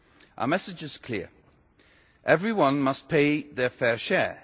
Our message is clear everyone must pay their fair share.